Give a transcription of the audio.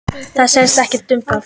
Það snýst ekkert um það.